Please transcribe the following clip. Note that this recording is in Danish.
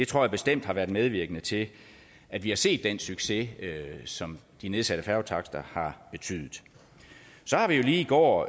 tror jeg bestemt har været medvirkende til at vi har set den succes som de nedsatte færgetakster har betydet så har vi jo lige i går